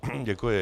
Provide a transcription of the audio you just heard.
Děkuji.